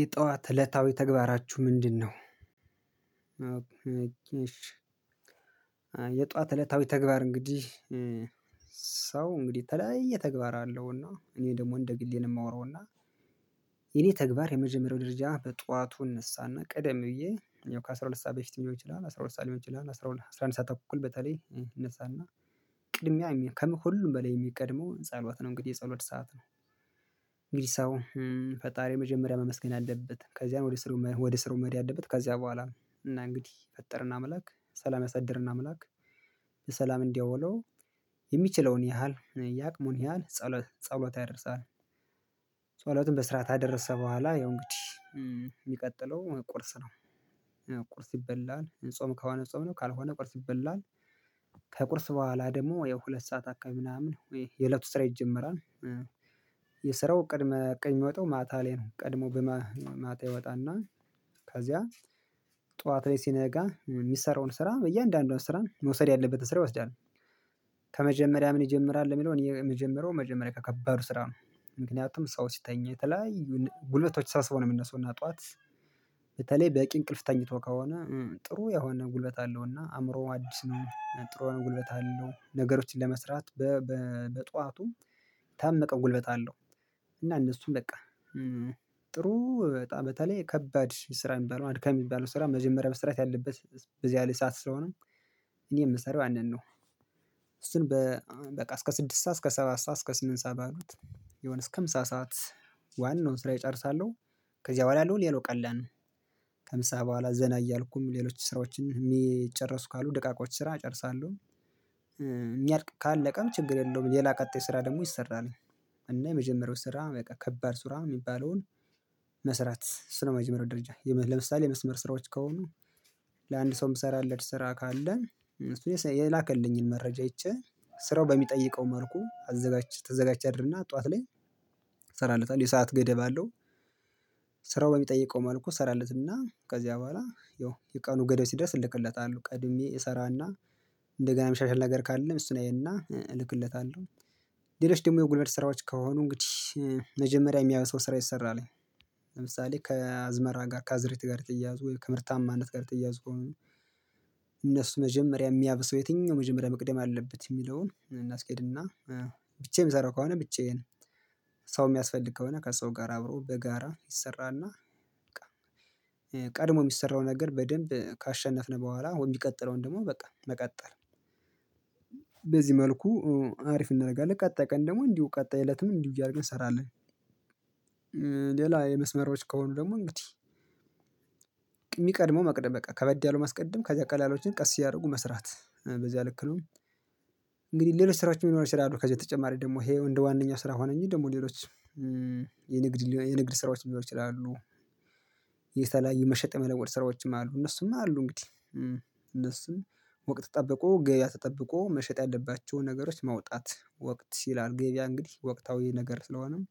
የጠዋት እለታዊ ተግባራችሁ ምንድነው? የጧት እለታዊ ተግባር እንግዲህ ሰው እንግዲህ የተለያየ ተግባር አለው እና እኔ ደግሞ እንደ ግሌ የማወራው እና የኔ ተግባር የመጀመሪያው ደረጃ በጧቱ እንሳና ቀደም ብዬ እኔው ከአሥራ ሁለት ሰዓት በፊት ሊሆን ይችላል አስራ ሁለት ሰዓት ሊሆን ይችላል አስራ አንድ ሰዓት እኮ በተለይ እነሳና ቅድሚያ ከሁሉም በላይ የሚቀድመው ጸሎት ነው። እንግዲህ የጸሎት ሰዓት ነው። እንግዲህ ሰው ፈጣሪ መጀመሪያ መመስገን አለበት ከዚያም ወደ ስራው መሄድ ያለበት ከዚያ በኋላ ነው። እና እንግዲህ የፈጠረን አምላክ ሰላም ያሳደረን አምላክ በሠላም እንዲያውለው የሚችለውን ያህል የአቅሙን ያህል ጸሎት ጸሎት ያደርሳል። ጸሎትን በስርዓት ከአደረሰ በኋላ ያው እንግዲህ የሚቀጥለው ቁርስ ነው። ቁርስ ይበላል ጾም ከሆነ ጾም ነው ካልሆነ ቁርስ ይበላል። ከቁርስ በኋላ ደግሞ ያው ሁለት ሰዓት አካባቢ ምናምን ወይ የእለቱ ስራ ይጀምራል። የስራው ቅድመ እቅድ የሚወጣው ማታ ላይ ነው ቀድሞ በማታ ይወጣና ከዚያ ጠዋት ላይ ሲነጋ የሚሰራውን ስራ በያንዳንዱ ስራ መውሰድ ያለበትን ስራ ይወስዳል። ከመጀመሪያ ምን ይጀምራል የሚለውን የመጀመሪያው መጀመሪያ ከከባዱ ስራ ነው። ምክንያቱም ሰው ሲተኛ የተለያዩ ጉልበቶች ሰብስቦ ነው የሚነሳው እና ጠዋት በተለይ በቂ እንቅልፍ ተኝቶ ከሆነ ጥሩ የሆነ ጉልበት አለውና አእምሮው አዲስ ነው ጥሩ ጉልበት አለው ነገሮችን ለመስራት። በጧቱም የታመቀ ጉልበት አለው። እና እነሱም በቃ ጥሩ በጣም በተለይ ከባድ ስራ የሚባለው አድካሚ የሚባለው ስራ መጀመሪያ መስራት ያለበት በዚያ ላይ ሰዓት ስለሆነ እኔ የምሰራው ያንን ነው። እሱን በቃ እስከ ስድስት ሰዓት እስከ ሰባት ሰዓት እስከ ስምንት ሰዓት ባሉት የሆነ እስከ ምሳ ሰዓት ዋናውን ስራ ጨርሳለው። ከዚያ በኋላ ያለው ሌላው ቀላል ነው። ከምሳ በኋላ ዘና እያልኩም ሌሎች ስራዎቸን የሚጨርሱ ካሉ ደቃቆች ስራ እጨርሳለሁ። የሚያልቅ ካለቀም ችግር የለውም ሌላ ቀጣይ ስራ ደግሞ ይሰራል። እና የመጀመሪያው ስራ በቃ ከባድ ስራ የሚባለውን መስራት እሱ ነው። መጀመሪያው ደረጃ ለምሳሌ የመስመር ስራዎች ከሆኑ ለአንድ ሰው የምሰራለት ስራ ካለን እሱን የላከልኝን መረጃ አይቼ ስራው በሚጠይቀው መልኩ አዘጋጅ ተዘጋጅ አድርና ጠዋት ላይ ሰራለታለው የሰዓት ገደብ አለው። ስራው በሚጠይቀው መልኩ ሰራለትና ከዚያ በኋላ ያው የቀኑ ገደብ ሲደርስ እልክለታለሁ ቀድሜ እሰራና እንደገና የሚሻሻል ነገር ካለም እሱን አየና እልክለታለሁ። ሌሎች ደግሞ የጉልበት ስራዎች ከሆኑ እንግዲህ መጀመሪያ የሚያየው ሰው ስራ ይሰራል። ለምሳሌ ከአዝመራ ጋር ከአዝርዕትት ጋር የተያያዙ ወይ ከምርታማነት ጋር የተያያዙ ከሆነ እነሱ መጀመሪያ የሚያብሰው የትኛው መጀመሪያ መቅደም አለበት የሚለውን እናስኬድና ብቻዬን የምሰራው ከሆነ ብቻዬን ሰው የሚያስፈልግ ከሆነ ከሰው ጋር አብሮ በጋራ ይሰራና። ቀድሞ የሚሰራው ነገር በደንብ ካሸነፍነው በኋላ የሚቀጥለውን ደግሞ በቃ መቀጠል በዚህ መልኩ አሪፍ እናደርጋለን ቀጣይ ቀን ደግሞ እንዲሁ ቀጣይ እለትም እንዲሁ እያደረገ እንሰራለን። ሌላ የመስመሮች ከሆኑ ደግሞ እንግዲህ የሚቀድመው መቅደም በቃ ከበድ ያለው ማስቀደም ከዚያ ቀላሎችን ቀስ እያደረጉ መስራት በዚያ ልክ ነው። እንግዲህ ሌሎች ስራዎችም ሊኖሩ ይችላሉ ከዚህ በተጨማሪ ደግሞ ይሄ እንደ ዋናኛ ስራ ሆነ እንጂ ደግሞ ሌሎች የንግድ የንግድ ስራዎች ሊኖሩ ይችላሉ። የተለያዩ መሸጥ የመለወጥ ስራዎችም አሉ እነሱም አሉ እንግዲህ እነሱም ወቅት ጠብቆ ገቢያ ተጠብቆ መሸጥ ያለባቸውን ነገሮች ማውጣት ወቅት ሲል ገቢያ እንግዲህ ወቅታዊ ነገር ስለሆነም።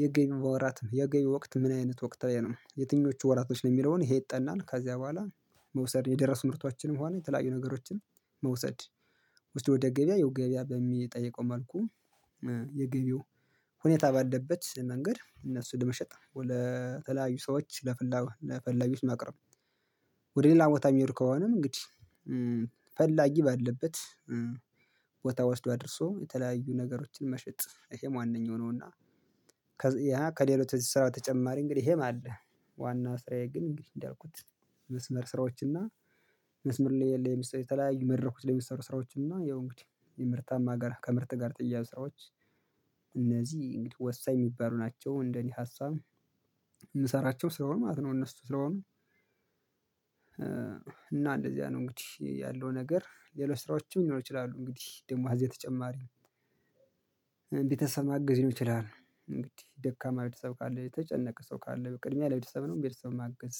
የገቢ ወራት የገንቢ ወቅት ምን አይነት ወቅት ነው የትኞቹ ወራቶች ነው የሚለውን ይጠናል። ከዚያ በኋላ መውሰድ የደረሱ ምርቷችንም ሆነ የተለያዩ ነገሮችን መውሰድ ውስጥ ወደ ገበያ ያው ገበያ በሚጠይቀው መልኩ የገቢው ሁኔታ ባለበት መንገድ እነሱን ለመሸጥ ለተለያዩ ሰዎች ለፈላጊዎች ለፈላጊዎች ማቅረብ። ወደ ሌላ ቦታ የሚሄድ ከሆነም እንግዲህ ፈላጊ ባለበት ቦታ ወስዶ አድርሶ የተለያዩ ነገሮችን መሸጥ ይሄም ዋነኛው ነውና። ከሌሎች እዚህ ስራው በተጨማሪ እንግዲህ ይሄም አለ። ዋና ስራዬ ግን እንግዲህ እንዳልኩት መስመር ስራዎችን እና መስመር ላይ ለምሳሌ የተለያዩ መድረኮች ለሚሰሩ ስራዎችን እና ያው እንግዲህ የምርታማ ጋር ከምርት ጋር የተያያዙ ስራዎች። እነዚህ ወሳኝ የሚባሉ ናቸው እንደኔ ሀሳብ የምሰራቸው ስለሆኑ ማለት ነው። እነሱ ስለሆኑ። እና እንደዚያ ነው እንግዲህ ያለው ነገር ሌሎች ስራዎችም ሊኖሩ ይችላሉ እንግዲህ ደግሞ ከዚሀ በተጨማሪ ነው። ቤተሰብ ማግዝ ሊሆን ይችላል እንግዲህ ደካማ ቤተሰብ ካለ የተጨነቀ ሰው ካለ በቅድሚያ ለቤተሰብ ነው ለቤተሰብ ማገዝ።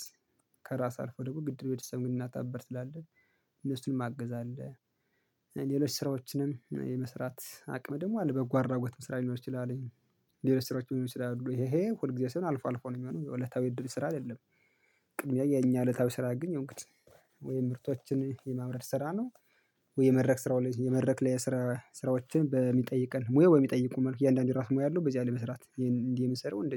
ከራስ አልፎ ደግሞ ግድ ቤተሰብ እናት አባት ስላለ እነሱንም ማገዝ አለ። ሌሎች ስራዎችንም የመስራት አቅም ደግሞ አለ በጎ አድራጎትም ስራ ሊኖር ይችላል። ሌሎች ስራዎች ሊኖር ይችላሉ ይሄ ይሄ ሁል ጊዜ ሳይሆን አልፎ አልፎ ነው የሚሆነው የዕለታዊ እድል ስራ አይደለም። ቅድሚያ የኛ እለታዊ ስራ አግኝ እንግዲህ ወይም ምርቶችን የማምረት ስራ ነው። ወይ የመድረክ ስራው የመድረክ ላይ የስራ ስራዎችን በሚጠይቀን ሙያ ወይ በሚጠይቁን መልኩ የእያንዳንዱ የራሱ ሙያ አለው በዚህ ላይ መስራት እንዲህ የምሰራው እንደዚህ